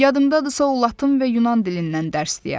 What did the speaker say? Yadımdadırsa o latın və yunan dilindən dərs deyərdi.